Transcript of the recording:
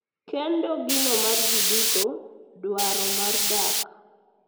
kendo gino ma ji duto dwaro mar dak,